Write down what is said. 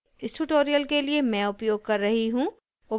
इस tutorial के लिए मैं उपयोग कर रही हूँ